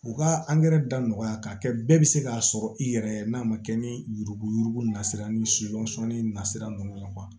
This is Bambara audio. U ka da nɔgɔya k'a kɛ bɛɛ bɛ se k'a sɔrɔ i yɛrɛ n'a ma kɛ ni yurugu yurugu na sira ni na sira ninnu ye